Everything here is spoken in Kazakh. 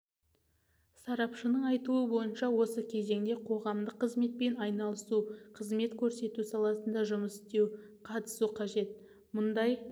сарапшының айтуы бойынша осы кезеңде қоғамдық қызметпен айналысу қызмет көрсету саласында жұмыс істеу қатысу қажет мұндай